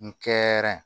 N kɛr